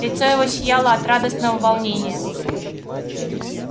лицо его сияло от радостного волнения